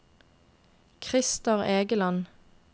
Christer Egeland